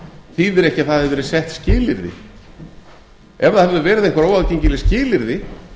þýðir ekki að það hafi verið sett skilyrði ef það hefðu verið einhver óaðgengileg skilyrði